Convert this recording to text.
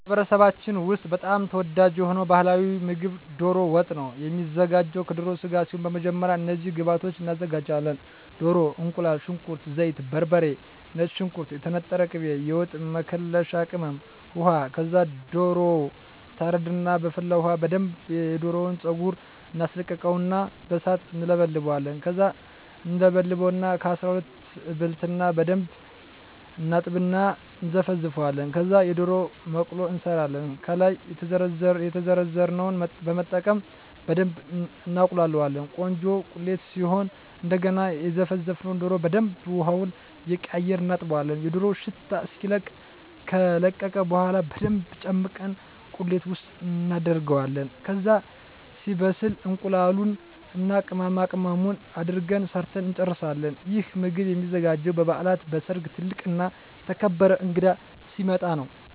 በማኅበረሰባችን ውስጥ በጣም ተወዳጅ የሆነው ባሕላዊ ምግብ ደሮ ወጥ ነው የሚዘጋው ከደሮ ስጋ ሲሆን በመጀመሪያ እነዚህን ግብአቶች እናዘጋጃለን። ደሮ፣ እቁላል፣ ሽንኩርት፣ ዘይት፣ በርበሬ፣ ነጭ ሽንኩርት፣ የተነጠረ ቅቤ፣ የወጥ መከለሻ ቅመም፣ ውሃ ከዛ ደሮው ይታረድና በፈላ ውሀ በደንብ የደሮውን ፀጉር እናስለቅቀውና በሣት እንለበልበዋለን። ከዛ እንበልተዋለን ከ12 እበልትና በደንብ እናጥብና እና እነዘፈዝፈዋለን። ከዛ የደሮ መቅሎ እንሠራለን። ከላይ የዘረዘርነውን በመጠቀም በደብ እናቁላላዋለን ቆንጆ ቁሌት ሲሆን እደገና የዘፈዘፍነውን ደሮ በደንብ ውሀውን እየቀያየርን እናጥበዋለን የደሮው ሽታ እስኪለቅ። ከለቀቀ በኋላ በደንብ ጨምቀን ቁሌት ውስጥ እናደርገዋለን። ከዛ ሲበስል እቁላሉን እና ቅመማቅመሙን አድርገን ሠርተን እንጨርሣለን። ይህ ምግብ የሚዘጋጀው በበዓላት፣ በሠርግ፣ ትልቅ እና የተከበረ እንግዳ ሲመጣ።